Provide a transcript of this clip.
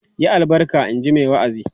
"Yi albarka!" in ji mai wa'azin.